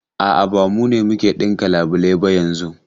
A'a, ba mu ne muke ɗinka labulai ba yanzun.